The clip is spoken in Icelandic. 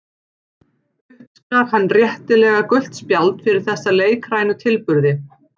Uppskar hann réttilega gult spjald fyrir þessa leikrænu tilburði.